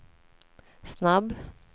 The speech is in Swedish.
snabb